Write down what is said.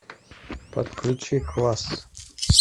подключи класс